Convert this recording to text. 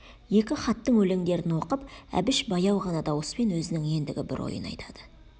екі хаттың өлеңдерін оқып әбіш баяу ғана дауыспен өзінің ендігі бір ойын айтады